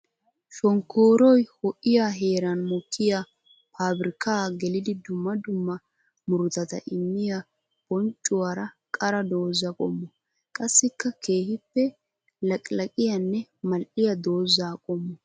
Shonkkoroy ho'iya heeran mokkiya paabirkka geliddi dumma dumma murutatta immiya bonccuwara qara dooza qommo. Qassikka keehippe laqqilaqiyanne mal'iya dooza qommo.